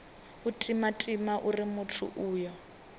u timatima uri muthu uyo